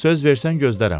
Söz versən gözlərəm.